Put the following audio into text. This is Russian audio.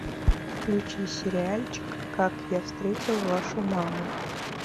включи сериальчик как я встретил вашу маму